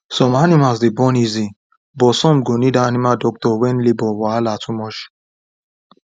some animals dey born easy but some go need animal doctor when labour wahala too much